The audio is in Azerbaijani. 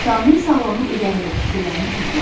Kamil sağlamlıq üzərində fikirlərini topla.